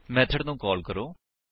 method ਨੂੰ call ਕਰੋ